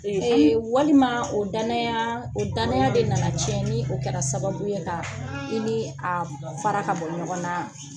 Ee walima o danaya o danaya de nana ciɲɛn ni o kɛlra sababu ye kan i ni a fara ka bon ɲɔgɔn naa